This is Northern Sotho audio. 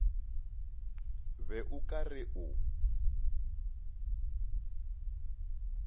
be o ka re o